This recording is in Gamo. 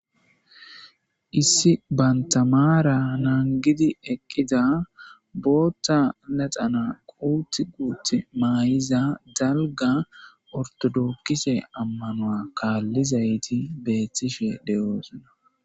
issi bantamaara naangidi eqqida bootta laxana quutt quut maayiza dalga ortodokkise ammanoa kaallizayti beethtishe de7oosona